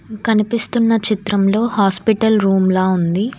కనిపిస్తున్న చిత్రంలో హాస్పిటల్ రూమ్ల ఉంది.